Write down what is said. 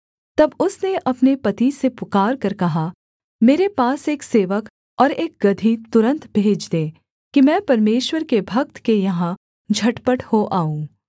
तब उसने अपने पति से पुकारकर कहा मेरे पास एक सेवक और एक गदही तुरन्त भेज दे कि मैं परमेश्वर के भक्त के यहाँ झटपट हो आऊँ